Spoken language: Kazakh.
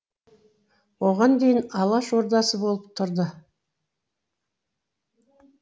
оған дейін алаш ордасы болып тұрды